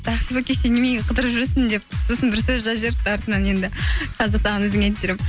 ақбибі кеше неменеге қыдырып жүрсің деп сосын бір сөз жазып жіберіпті артынан енді қазір саған өзіңе айтып беремін